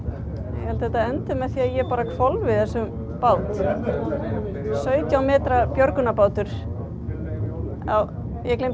ég held þetta endi með því að ég hvolfi þessum báti sautján metra björgunarbátur já ég gleymdi